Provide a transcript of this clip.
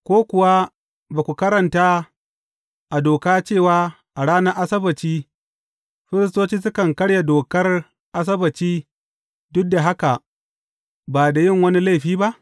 Ko kuwa ba ku karanta a Doka cewa a ranar Asabbaci firistoci sukan karya dokar Asabbaci duk da haka ba da yin wani laifi ba?